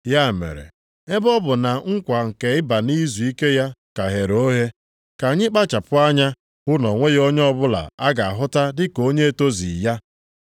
Ya mere, ebe ọ bụ na nkwa nke ịba nʼizuike ya ka ghere oghe, ka anyị kpachapụ anya hụ na o nweghị onye ọbụla a ga-ahụta dịka onye etozughị ya.